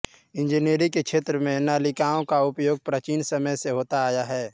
इंजीनियरी के क्षेत्र में नालिकाओं का उपयोग प्राचीन समय से होता आया है